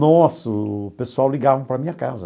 Nossa, o pessoal ligava para a minha casa.